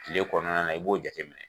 Kile kɔnɔna na i b'o jate minɛ.